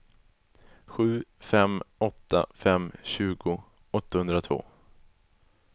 sju fem åtta fem tjugo åttahundratvå